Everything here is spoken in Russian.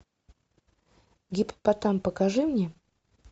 гиппопотам покажи мне